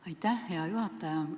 Aitäh, hea juhataja!